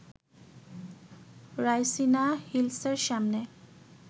রাইসিনা হিলসের সামনে